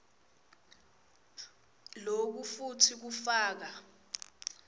loku futsi kufaka